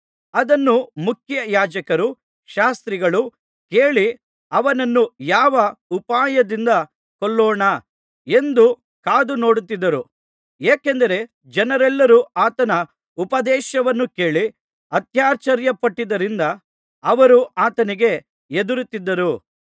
ಅದನ್ನು ಮುಖ್ಯಯಾಜಕರೂ ಶಾಸ್ತ್ರಿಗಳೂ ಕೇಳಿ ಅವನನ್ನು ಯಾವ ಉಪಾಯದಿಂದ ಕೊಲ್ಲೋಣ ಎಂದು ಕಾದು ನೋಡುತ್ತಿದ್ದರು ಏಕೆಂದರೆ ಜನರೆಲ್ಲರೂ ಆತನ ಉಪದೇಶವನ್ನು ಕೇಳಿ ಅತ್ಯಾಶ್ಚರ್ಯಪಟ್ಟಿದ್ದರಿಂದ ಅವರು ಆತನಿಗೆ ಹೆದರುತ್ತಿದ್ದರು